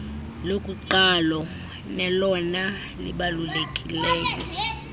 lokuqalo nelona libalulekileyo